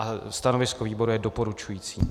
A stanovisko výboru je doporučující.